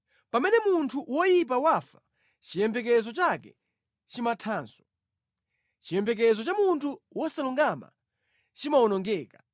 Pamene munthu woyipa wafa, chiyembekezo chake chimathanso. Chiyembekezo cha munthu wosalungama chimawonongeka.